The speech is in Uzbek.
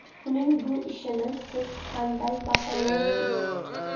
Uning bu ishini siz qanday baholaysiz?